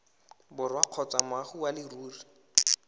borwa kgotsa moagi wa leruri